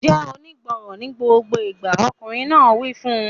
Jẹ́ onígbọràn ní gbogbo ìgbà! Ọkùnrin náà wí fún un.